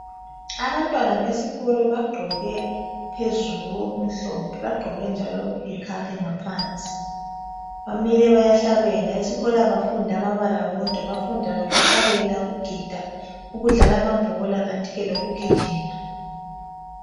Abantwana besikolo bagqoke phezulu okumhlophe bagqoke njalo okuyi khakhi ngaphansi bamile bayahlabela esikolo abafundi amabala wodwa bafunda lokuhlabela ukugida ukudlala amabhola kantike lokugijima.